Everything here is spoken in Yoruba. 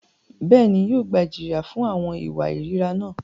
Bẹ́ẹ̀ni, yóò gba ijiya fun awọn iwa irira náà.